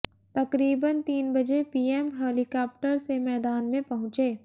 तकरीबन तीन बजे पीएम हेलीकॉप्टर से मैदान में पहुंचे